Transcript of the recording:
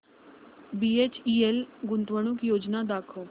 BHEL गुंतवणूक योजना दाखव